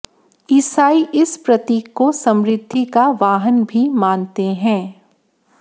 ईसाई इस प्रतीक को समृद्धि का वाहन भी मानते हैं